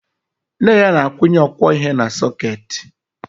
Nne ya na-akwụnye ọkwọihe na sọkeetị